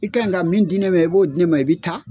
I kan ye ka min di ne ma i b'o di ne ma i bɛ taa.